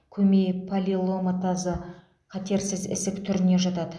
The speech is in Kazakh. көмей папилломатозы қатерсіз ісік түріне жатады